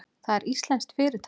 Það er íslenskt fyrirtæki.